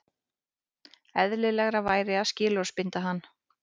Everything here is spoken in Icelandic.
Eðlilegra væri að skilorðsbinda hann